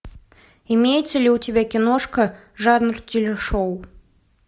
имеется ли у тебя киношка жанр телешоу